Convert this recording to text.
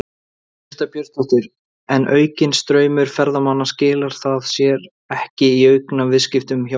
Birta Björnsdóttir: En aukinn straumur ferðamanna, skilar það sér ekki í auknum viðskiptum hjá ykkur?